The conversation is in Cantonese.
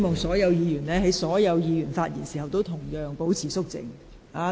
在議員發言時，請其他議員保持肅靜。